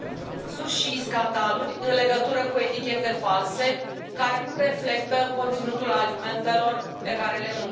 și scandaluri în legătură cu etichete false care nu reflectă conținutul alimentelor pe care le mâncăm.